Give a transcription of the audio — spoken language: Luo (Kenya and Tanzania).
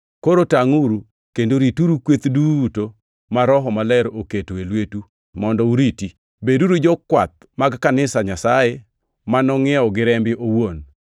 Koro tangʼuru kendo rituru kweth duto ma Roho Maler oketo e lwetu mondo uriti. Beduru jokwath mag Kanisa Nyasaye ma nongʼiewo gi rembe owuon.